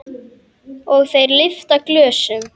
Og þeir lyfta glösum.